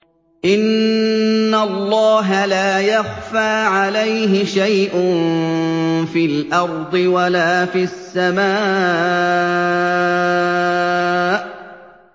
إِنَّ اللَّهَ لَا يَخْفَىٰ عَلَيْهِ شَيْءٌ فِي الْأَرْضِ وَلَا فِي السَّمَاءِ